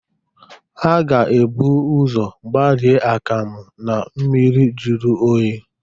A ga ebu ụzọ gbarie akam na mmiri jiri oyi.